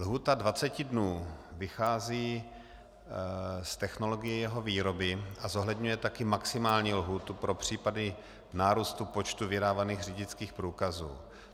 Lhůta 20 dnů vychází z technologie jeho výroby a zohledňuje také maximální lhůtu pro případy nárůstu počtu vydávaných řidičských průkazů.